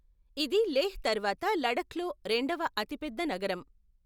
ఇది లేహ్ తర్వాత లడఖ్లో రెండవ అతిపెద్ద నగరం.